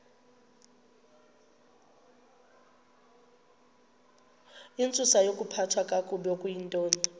intsusayokuphathwa kakabi okuyintoni